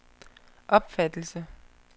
opfattelse